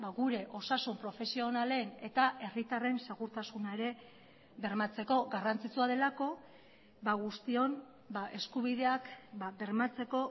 gure osasun profesionalen eta herritarren segurtasuna ere bermatzeko garrantzitsua delako guztion eskubideak bermatzeko